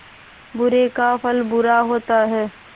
बुरे का फल बुरा होता है